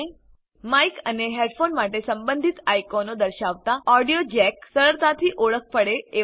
Mike અને headphone માટે સંબંધિત આઇકોનો દર્શાવતા ઓડિયો જેક સરળતાથી ઓળખ પડે એવા છે